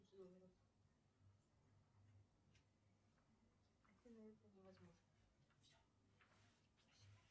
салют кто живет